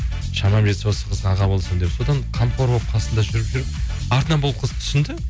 шамам жетсе осы қызға аға болсам деп содан қамқор болып қасында жүріп жүріп артынан бұл қыз түсінді